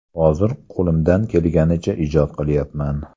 Hozir qo‘limdan kelganicha ijod qilyapman.